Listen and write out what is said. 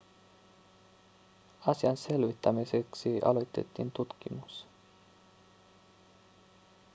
asian selvittämiseksi aloitettiin tutkimus